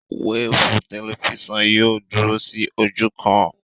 Wéèfù tẹlifísàn yìí ò dúró sí ojú kan